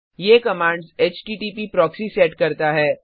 ये commands HTTP proxy set करता है